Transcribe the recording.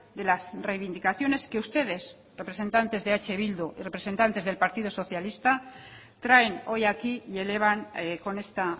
de las reivindicaciones que ustedes representantes de eh bildu y representantes del partido socialista traen hoy aquí y elevan con esta